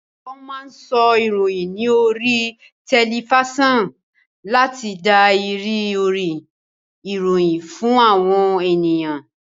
Wón máa ń sọ ìròyìn ní oríi tẹlifísàn láti dá ìrírí ìròyìn fún àwọn ènìyàn